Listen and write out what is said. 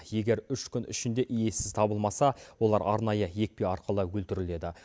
егер үш күн ішінде иесі табылмаса олар арнайы екпе арқылы өлтіріледі